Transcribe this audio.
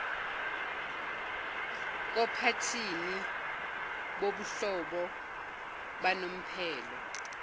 kophathini bobuhlobo banomphelo